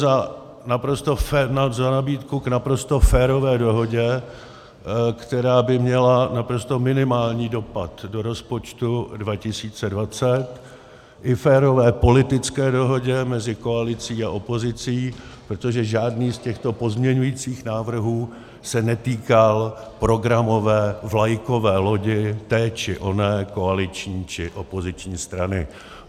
za nabídku k naprosto férové dohodě, která by měla naprosto minimální dopad do rozpočtu 2020, i férové politické dohodě mezi koalicí a opozicí, protože žádný z těchto pozměňujících návrhů se netýkal programové vlajkové lodi té či oné koaliční či opoziční strany.